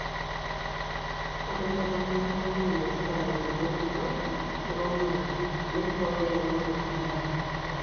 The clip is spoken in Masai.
ore empikata enkare naa enetipat te mponaroto eeunore naibooyo rlaunoto edaa